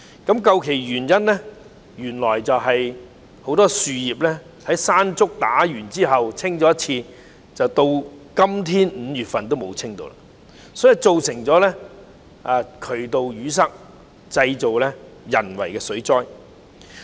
究其原因，原來自颱風"山竹"之後，只清理過樹葉一次，一直至現在5月也沒有再清理過，因而造成渠道淤塞，製造了人為的水災。